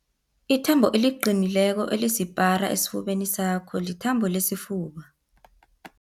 Ithambo eliqinileko elisipara esifubeni sakho lithambo lesifuba.